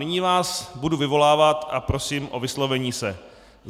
Nyní vás budu vyvolávat a prosím o vyslovení se.